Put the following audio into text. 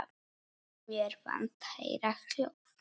Mér fannst ég heyra hljóð.